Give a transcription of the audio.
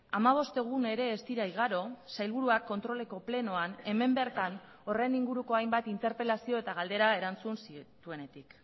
hamabost egun ere ez dira igaro sailburuak kontroleko plenoan hemen bertan horren inguruko hainbat interpelazio eta galdera erantzun zituenetik